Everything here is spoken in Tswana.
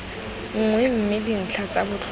nngwe mme dintlha tsa botlhokwa